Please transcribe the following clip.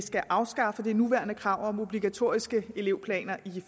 skal afskaffe det nuværende krav om obligatoriske elevplaner i